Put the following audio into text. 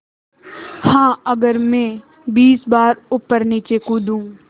हाँ अगर मैं बीस बार ऊपरनीचे कूदूँ